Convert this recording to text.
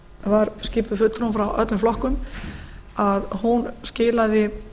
var skipuð fulltrúum frá öllum flokkum skilaði